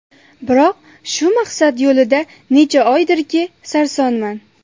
Biroq, shu maqsad yo‘lida necha oydirki, sarsonman.